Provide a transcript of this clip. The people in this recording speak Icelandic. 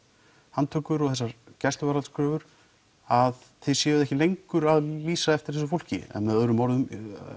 handtökur og gæsluvarðhaldskröfur að þið séuð ekki lengur að lýsa eftir þessu fólki með öðrum orðum